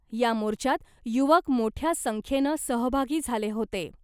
या मोर्चात युवक मोठ्या संख्येनं सहभागी झाले होते .